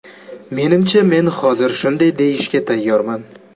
Menimcha men hozir shunday deyishga tayyorman.